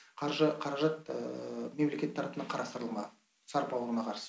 қаржы қаражат мемлекет тарапынан қарастырыла ма сарып ауруына қарсы